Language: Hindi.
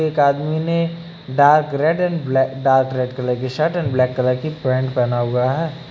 एक आदमी ने डार्क रेड एंड ब्लै डार्क रेड कलर की शर्ट एंड ब्लैक कलर की पैंट पहना हुआ है।